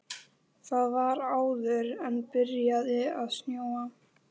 Það var áður en byrjaði að snjóa.